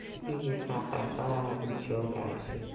и ха-ха-ха и чего дальше